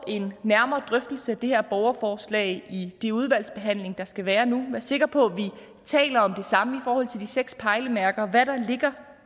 en nærmere drøftelse af det her borgerforslag i den udvalgsbehandling der skal være nu og være sikre på at vi taler om det samme i forhold til de seks pejlemærker nemlig hvad der ligger